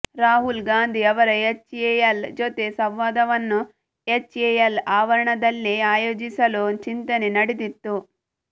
ರಾಹುಲ್ ಗಾಂಧಿ ಅವರ ಎಚ್ಎಎಲ್ ಜೊತೆ ಸಂವಾದವನ್ನು ಎಚ್ಎಎಲ್ ಆವರಣದಲ್ಲೇ ಆಯೋಜಿಸಲು ಚಿಂತನೆ ನಡೆದಿತ್ತು